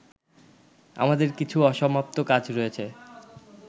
আমাদের কিছু অসমাপ্ত কাজ রয়েছে